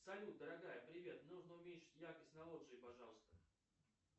салют дорогая привет нужно уменьшить яркость на лоджии пожалуйста